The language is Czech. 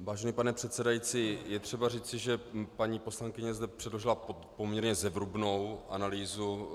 Vážený pane předsedající, je třeba říci, že paní poslankyně zde předložila poměrně zevrubnou analýzu